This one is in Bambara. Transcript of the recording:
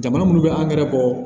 Jamana minnu bɛ angɛrɛ bɔ